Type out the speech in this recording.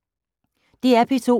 DR P2